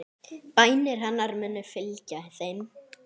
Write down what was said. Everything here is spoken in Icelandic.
Bænir hennar munu fylgja þeim.